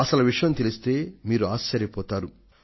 అసలు విషయం తెలిస్తే మీరు ఆశ్చర్య పోతారు